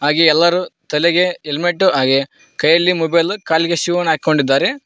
ಹಾಗೆ ಎಲ್ಲರು ತಲೆಗೆ ಹೆಲ್ಮೆಟ್ ಹಾಗೆ ಕೈಯಲ್ಲಿ ಮೊಬೈಲ್ ಕಾಲಿಗೆ ಶೂ ನ ಹಾಕೊಂಡಿದ್ದಾರೆ.